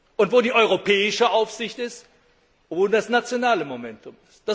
Und wo die Europäische Aufsicht ist, ruht das nationale Momentum.